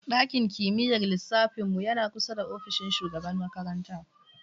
Ɗakin kimiyyar lissafin mu yana kusa da ofishin shugaban makaranta.